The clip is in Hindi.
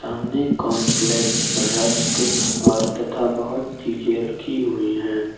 सामने कॉर्नफ्लेक्स रस्क ओर तथा बहुत सी चीजें रखी हुई है।